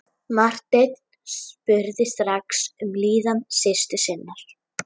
Marteinn spurði strax um líðan systur sinnar.